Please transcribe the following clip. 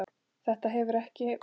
Þetta hefur ekki?